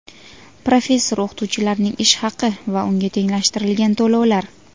Professor-o‘qituvchilarning ish haqi va unga tenglashtirilgan to‘lovlar:.